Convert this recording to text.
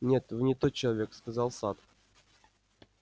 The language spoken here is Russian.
нет вы не тот человек сказал сатт